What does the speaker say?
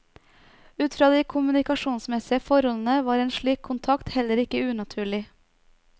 Ut fra de kommunikasjonsmessige forholdene var en slik kontakt heller ikke unaturlig.